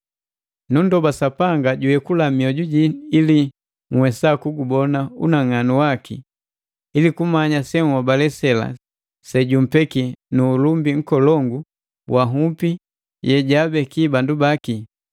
Nundoba Sapanga juyekula mioju jii ili nhwesa kugubona unang'anu waki, ili kumanya senhobale sela sejummbeki nu ulumbi nkolongu wa nhupi yejaabeki bandu baki,